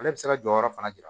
Ale bɛ se ka jɔyɔrɔ fana jira